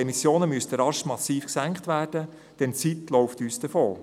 Die Emissionen müssten rasch massiv gesenkt werden, denn die Zeit läuft uns davon.